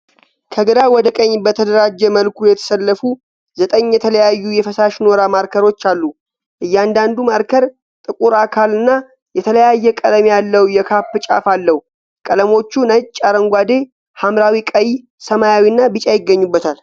ከግራ ወደ ቀኝ በተደራጀ መልኩ የተሰለፉ ዘጠኝ የተለያዩ የፈሳሽ ኖራ ማርከሮች አሉ። እያንዳንዱ ማርከር ጥቁር አካል እና የተለያየ ቀለም ያለው የካፕ ጫፍ አለው። ቀለሞቹ ነጭ፣ አረንጓዴ፣ ሐምራዊ፣ ቀይ፣ ሰማያዊ እና ቢጫ ይገኙበታል።